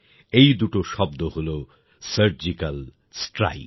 এই দুটো শব্দ হলো সার্জিক্যাল স্ট্রাইক